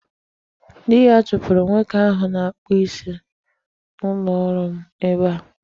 Di ya chụpụrụ nwoke ahụ na-akpụ isi n'ụlọọrụ m ebe a.